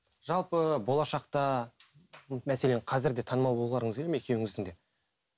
жалпы болашақта мәселен қазір де танымал болғыларыңыз келеді ме екеуіңіздің де